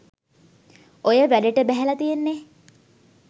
ඔය වැඩට බැහැල තියෙන්නෙ